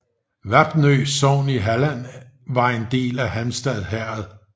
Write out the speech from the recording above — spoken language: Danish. Vapnø sogn i Halland var en del af Halmstad herred